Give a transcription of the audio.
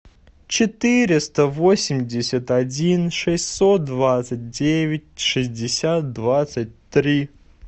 четыреста восемьдесят один шестьсот двадцать девять шестьдесят двадцать три